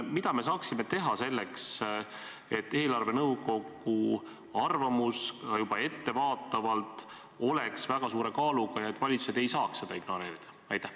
Mida me saaksime teha selleks, et eelarvenõukogu arvamus juba ettevaatavalt oleks väga suure kaaluga ja valitsused ei saaks seda ignoreerida?